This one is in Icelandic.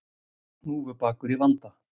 Hnúfubakur í vanda